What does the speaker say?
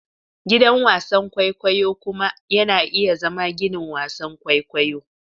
Gidan wasan kwaikwayo kuma yana iya zama ginin wasan kwaikwayo.